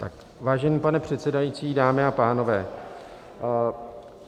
Vážený pane předsedající, dámy a pánové.